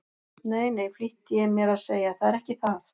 Nei, nei, flýtti ég mér að segja, það er ekki það.